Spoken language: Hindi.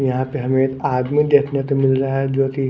यहां पे हमें एक आदमी देखने को मिल रहा है जो की--